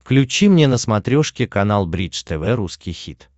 включи мне на смотрешке канал бридж тв русский хит